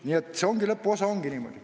Nii et see lõpuosa ongi niimoodi.